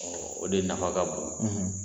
o de nafa ka bon